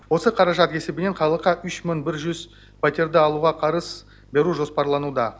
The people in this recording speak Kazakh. осы қаражат есебінен халыққа үш мың бір жүз пәтерді алуға қарыз беру жоспарлануда